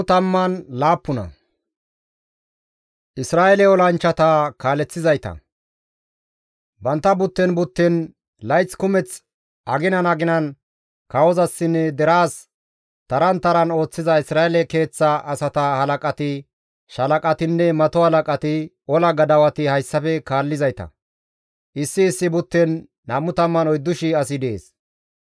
Bantta butten butten layth kumeth aginan aginan kawozasinne deraas taran taran ooththiza Isra7eele keeththa asata halaqati, shaalaqatinne mato halaqati, ola gadawati hayssafe kaallizayta; issi issi butten 24,000 asi dees.